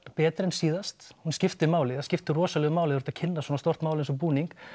betri en síðast hún skiptir máli það skiptir rosalegu máli þegar þú ert að kynna svona stórt mál eins og búning